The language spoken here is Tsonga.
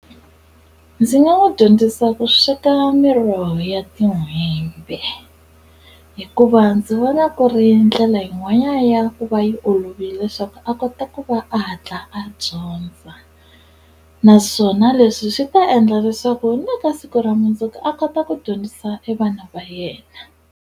Ndzi nga n'wi dyondzisa ku sweka miroho ya tin'hwembe hikuva ndzi vona ku ri ndlela yin'wana ya ku va yi olovile swa ku a kota ku va a hatla a dyondza naswona leswi swi ta endla leswaku ni ka siku ra mundzuku a kota ku dyondzisa e vana va yena.